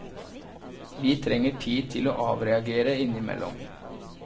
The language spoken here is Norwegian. Vi trenger tid til å avreagere innimellom.